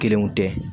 Kelenw tɛ